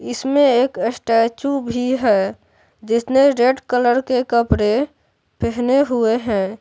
इसमें एक स्टैचू भी है जिसने रेड कलर के कपड़े पहने हुए हैं।